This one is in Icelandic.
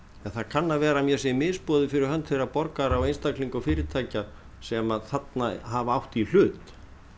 en það kann að vera að mér sé misboðið fyrir hönd þeirra borgara og einstaklinga og fyrirtækja sem þarna hafa átt í hlut